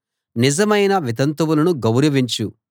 నిజమైన వితంతువులను గౌరవించు